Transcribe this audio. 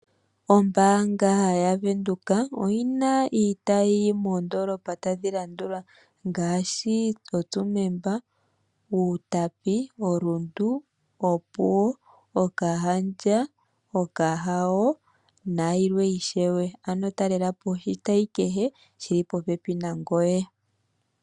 Ombaanga yaVenduka oyina iitayi moondolopa tadhi landula ngaashi Tsumeb, Outapi, Rundu, Opuwo, Grootfontein, Okahao, Okahandja, Capricorn, Oshakati north noshowo Oshakati Santorini service nayilwe ishewe ano talelapo oshitayi kehe shi li popepi nangoye.